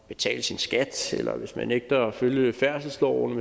betale sin skat eller hvis man nægter at følge færdselsloven